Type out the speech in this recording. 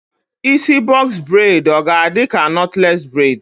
Isi bọks bred ọ ga-adịka nọtles bred?